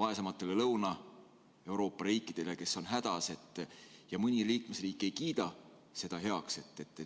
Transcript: vaesematele Lõuna-Euroopa riikidele, kes on hädas, ja mõni liikmesriik ei kiida seda heaks.